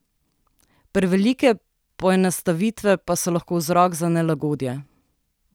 Prevelike poenostavitve pa so lahko vzrok za nelagodje.